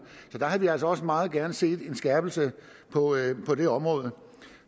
så vi havde altså også meget gerne set en skærpelse på det område